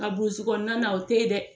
Nka burusi kɔnɔna na o tɛ ye dɛ.